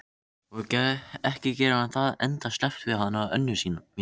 Og ekki gerir hann það endasleppt við hana Önnu mína.